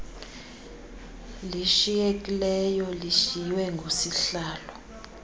lishiyekileyo lishiywe ngusihlalo